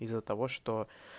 из-за того что